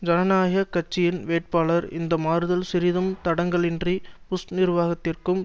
ஜனநாயக கட்சியின் வேட்பாளர் இந்த மாறுதல் சிறிதும் தடங்கல் இன்றி புஷ் நிர்வாகத்திற்கும்